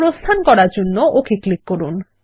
প্রস্থান করার জন্য ওক ক্লিক করুন